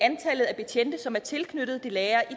betjente som er tilknyttet det nære i